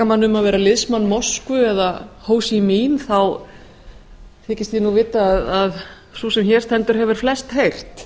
mann um að vera liðsmann moskvu eða á sí mín þykist ég nú vita að sú sem hér stendur hefur flest heyrt